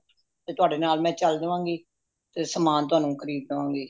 ਤੁਹਾਡੇ ਨਾਲ ਮੈਂ ਚੱਲ ਦਵਾਂ ਗੀ ਸਮਾਨ ਤੁਹਾਨੂੰ ਖਰੀਦ ਦਵਾਂਗੀ